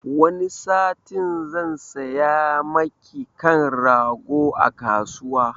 Wani satin zan saya maki kan rago a kasuwa